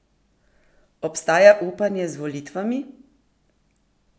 Obstaja upanje z volitvami?